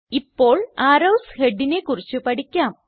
ഇപ്പോൾ അരോവ്സ് headsനെ കുറിച്ച് പഠിക്കാം